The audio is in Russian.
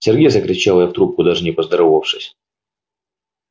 сергей закричала я в трубку даже не поздоровавшись